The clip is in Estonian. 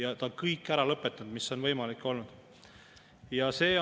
Aga inimesed ütlevad, et nad ei suuda seda enam teha, sest neil lihtsalt ei jää enam nii palju raha kätte.